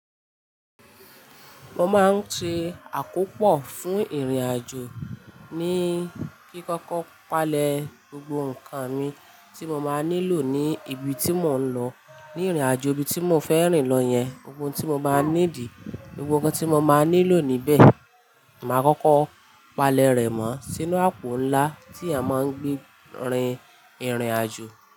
Mo máa ń ṣe àkópò fún ìrìnàjò ní kí kókó palẹ̀ gbogbo ǹkan mi tí mo máa nílò ní ibi tí mò ń lọ, ní ìrìnàjò ibi tí mò ń fẹ́ rìn lọ yẹn, ohun tí mo máa need, gbogbo ǹkan tí mo máa nílò níbẹ̀, mà á kókó palẹ̀ rẹ̀ mọ́ sínú àpò ńlá tí a máa ń gbé rin ìrìnàjò.